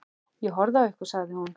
Ég horfði á ykkur, sagði hún.